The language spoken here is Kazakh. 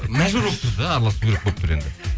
мәжбүр болып тұрсыз да аралысу керек болып тұр енді